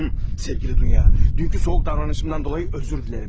Əziz Dunya, dünənki soyuq davranışından dolayı üzr istəyirəm.